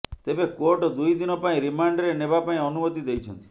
ତେବେ କୋର୍ଟ ଦୁଇ ଦିନ ପାଇଁ ରିମାଣ୍ଡରେ ନେବା ଲାଗି ଅନୁମତି ଦେଇଛନ୍ତି